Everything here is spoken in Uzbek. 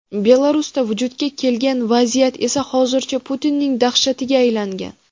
Belarusda vujudga kelgan vaziyat esa hozircha Putinning dahshatiga aylangan.